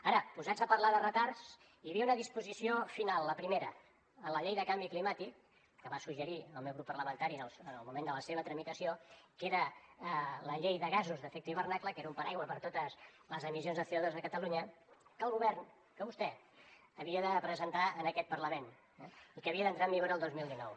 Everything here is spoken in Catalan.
ara posats a parlar de retards hi havia una disposició final la primera en la llei del canvi climàtic que va suggerir el meu grup parlamentari en el moment de la seva tramitació que era la llei de gasos d’efecte hivernacle que era un paraigua per a totes les emissions de conya que el govern que vostè havia de presentar en aquest parlament i que havia d’entrar en vigor el dos mil dinou